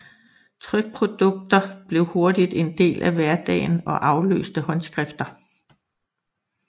Trykprodukter blev hurtigt en del af hverdagen og afløste håndskrifter